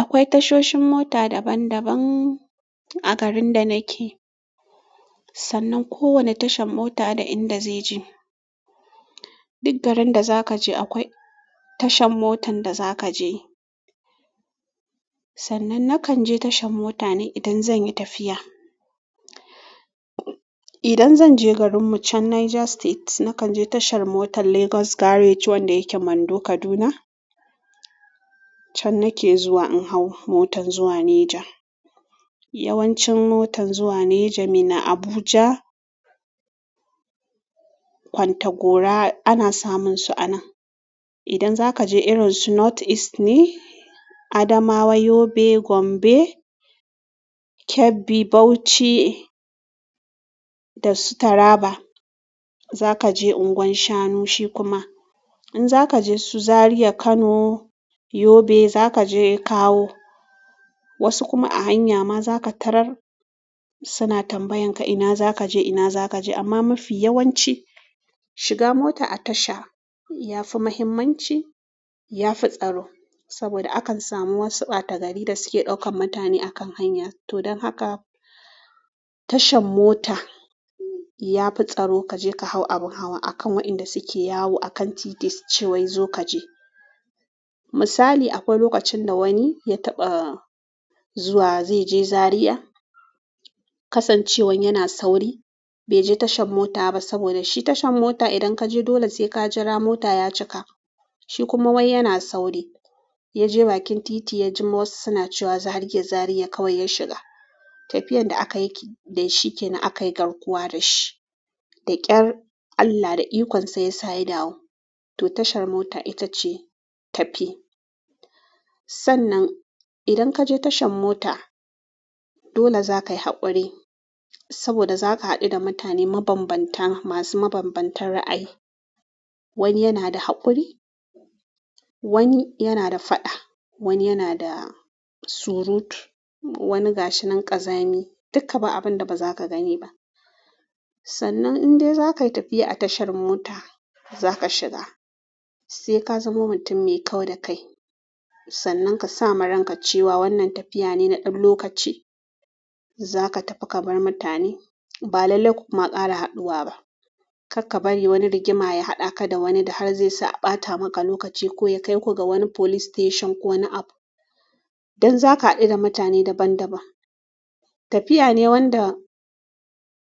Akwai tashoshin mota daban-daban a garin da nake, sannan kowanne tashar mota da inda zai je. Duk garin da za ka je akwai tashar motar da za ka je. Sannan nakan je tashar mota ne idan zan yi tafiya. Idan zan je garin mu can Niger State, nakan je tashar motar Lagos Garage wanda yake Mando Kaduna can nake zuwa in hau motar zuwa Niger. Yawancin motar zuwa Niger minna Abuja, kwantagora ana samun su a nan idan zaka je irin su North East ne Adamawa, Yobe, Gombe, Kebbi, Bauchi da su Taraba za ka je Unguwar Shanu shi kuma. In za ka je su Zaria, Kano, Yobe za ka je kawo. Wasu kuma a hanya ma za ka tarar suna tambayarka ina za je, ina za kaje amma mafi yawanci shiga mota a tasha ya fi muhimmanci, ya fi tsaro saboda akan samu wasu ɓata gari da suke ɗaukan mutane a kan hanya. To don haka tashar mota ya fi tsaro ka je ka hau abun hawa a kan wa inda suke yawo a kan titi suce wai zo kaje. Misali akwai lokacin da wani ya taɓa zuwa zai je Zariya kasancewan yana sauri bai je tashar mota ba saboda shi tashar mota idan ka je dole sai ka jira mota ya cika. Shi kuma wai yana sauri ya je bakin titi ya ji wasu suna cewa zariya, Zariya kawai ya shiga. Tafiyar da aka yi da shi ke nan aka yi garkuwa da shi. Da ƙyar Allah da ikon sa ya sa ya dawo. To tashar mota ita ce tafi. Sannan idan ka je tashar mota dole za ka yi haƙuri saboda za ka haɗu da mutane mabanbanta masu mabanbantan ra'ayi. Wani yana da haƙuri, wani yana da faɗa, wani yana da surutu, wani gashinan ƙazami duka ba abin da ba za ka gani ba. Sannan in dai za ka yi tafiya a tashar mota za ka shiga sai ka zamo mutum mai kau da kai. Sannan ka sa ma ranka cewa wannan tafiya ne na ɗan lokaci. Za ka tafi ka bar mutane, ba lallai ku kuma ƙara haɗuwa ba. Karka bari wani rigima ya haɗa ka da wani da har zai sa a ɓata maka lokaci ko ya kai ku ga wani police station ko wani abu. Don za ka haɗu da mutane daban-daban. Tafiya ne wanda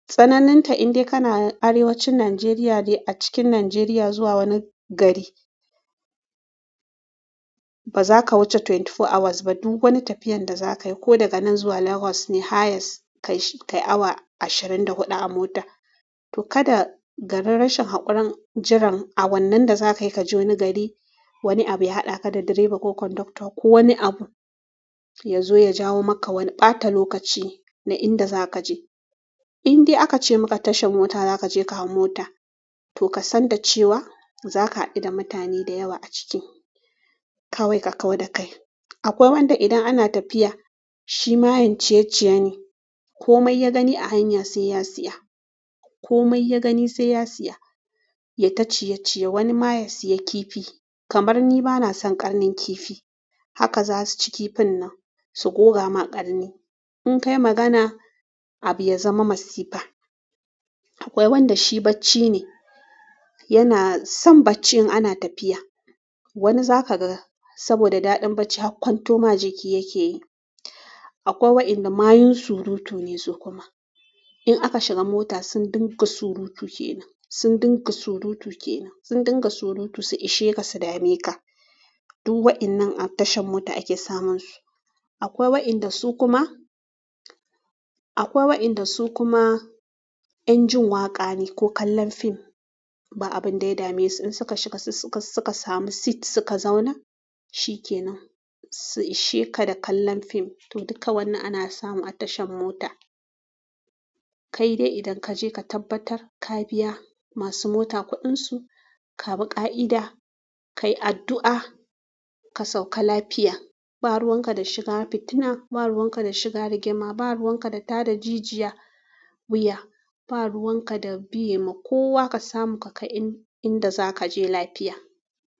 tsananin ta in dai kana arewacin Nigeria ne a cikin Nigeria zuwa wani gari baza ka wuce ashirin da huɗu hours ba duk wani tafiyar da za kai ko daga nan zuwa legos ne highers kai awa ashirin da huɗu a mota kada garin rashin haƙurin jiran awannin da za kai kaje wani gari wani abu ya haɗa ka da direba ko kondakta ko wani abu ya zo ya jawo maka wani ɓata lokaci na inda za ka je. In dai aka ce maka tashar mota za ka je ka hau mota to ka san da cewa za ka haɗu da mutane da yawa a ciki kawai ka kau da kai. Akwai wanda idan ana tafiya shi mayen ciye-ciye ne. Komai ya gani a hanya sai ya siya. Komai ya gani sai ya siya ya ta ciye-ciye. Wani ma ya siya kifi kamar ni bana son ƙarnin kifi haka za su ci kifin nan su goga ma ƙarni. In kai magana abu ya zama masifa. Akwai wanda shi bacci ne yana son bacci in ana tafiya. Wani za ka ga saboda daɗin barci har kwanto ma jiki yake yi. Akwai wa inda mayun surutu ne su kuma. In aka shiga mota sun dinga surutu kenan, sun dinga surutu kenan, sun dinga surutu su ishe ka su dame ka. Duk wa'innan a tashar mota ake samun su. Akwai wa'inda su kuma, akwai wa'inda su kuma 'yan jin waƙa ne ko kallon fim ba abun ɗaya dame su. In suka shiga su suka samu seat suka zauna shi kenan su ishe ka da kallon fim. To duka wannan ana samu a tashar mota. Kai dai idan ka je ka tabbatar ka biya masu mota kuɗin su, ka bi ƙa'ida, ka yi addu'a ka sauka lafiya. Ba ruwan ka da shiga fitina, ba ruwan ka da shiga rigima, ba ruwan ka da tada jijiya wuya, ba ruwan ka da biye ma kowa ka samu ka kai inda za ka je lafiya.